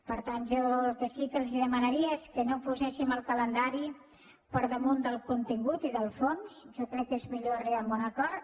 per tant jo el que sí que els demanaria és que no poséssim el calendari per damunt del contingut i del fons jo crec que és millor arribar a un acord